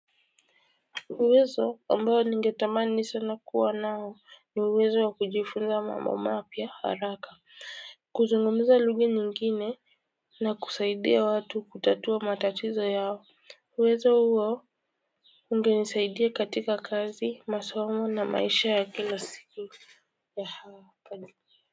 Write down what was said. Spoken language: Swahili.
Uwezo ambao ningetamani sana kuwa nao ni uwezo wa kujifunza mambo mapya haraka. Kuzungumuza lugha nyingine na kusaidia watu kutatua matatizo yao uwezo huo ungenisaidia katika kazi masomo na maisha ya kila siku.